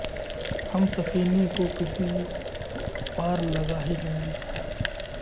ہم سفینے کو کسی پار لگا ہی لیں گے